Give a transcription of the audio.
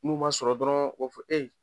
N'u m'a sɔrɔ dɔrɔn o f